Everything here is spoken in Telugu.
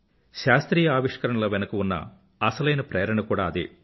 శాస్త్రీయ ఆవిష్కరణల వెనుక ఉన్న అసలైన ప్రేరణ కూడా అదే